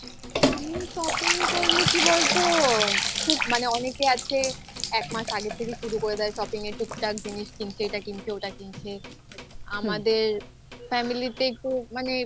আমি shopping করলে কি বলতো মানে অনেকে আছে এক মাস আগে থেকে শুরু করে দেয় shopping য়ে টুকটাক জিনিস কিনছে এটা কিনছে ওটা কিনছে but আমাদের family তে খুব মানে